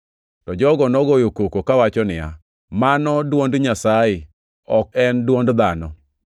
To jogo nogoyo koko kawacho niya, “Mano dwond Nyasaye, ok en dwond dhano!”